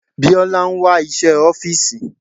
Biola ń wá iṣẹ́ ọ́fìsì.